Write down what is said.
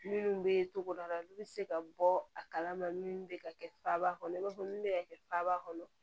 Minnu bɛ togoda la olu bɛ se ka bɔ a kalama minnu bɛ ka kɛ faaba kɔnɔ i b'a fɔ min bɛ ka kɛ faaba kɔnɔ